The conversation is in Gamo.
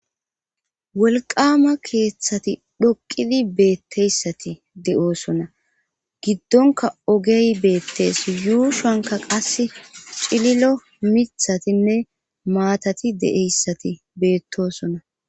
Wolqqaama keethati dhoqqidi beetteyssati de7oosona giddonkka ogey beettees yuushonkka qassi cililio mithatinne maatati dde7eyssati beettoososna.